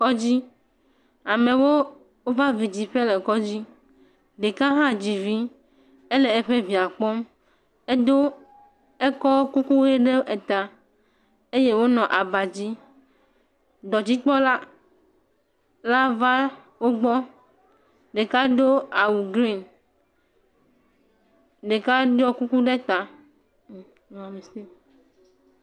Kɔdzi amewo va vi dziƒe le kɔdzi, ɖeka hã dzi vi, ele evia kpɔm, edo kuku ʋe ɖe ta. Dɔdzikpɔla va wo gbɔ, ɖeka do awu green, ɖeka ɖɔi kuku ɖe ta, o mewɔ mistake.